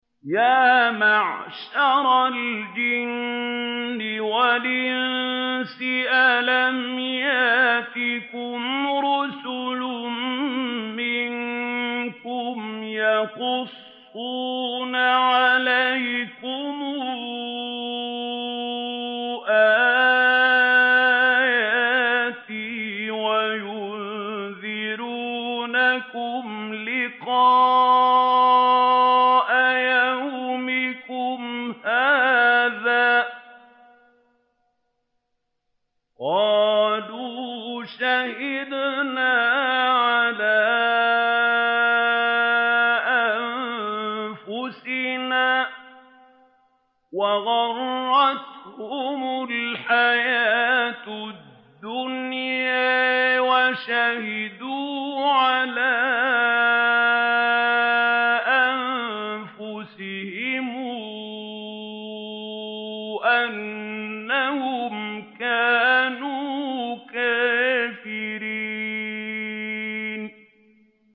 يَا مَعْشَرَ الْجِنِّ وَالْإِنسِ أَلَمْ يَأْتِكُمْ رُسُلٌ مِّنكُمْ يَقُصُّونَ عَلَيْكُمْ آيَاتِي وَيُنذِرُونَكُمْ لِقَاءَ يَوْمِكُمْ هَٰذَا ۚ قَالُوا شَهِدْنَا عَلَىٰ أَنفُسِنَا ۖ وَغَرَّتْهُمُ الْحَيَاةُ الدُّنْيَا وَشَهِدُوا عَلَىٰ أَنفُسِهِمْ أَنَّهُمْ كَانُوا كَافِرِينَ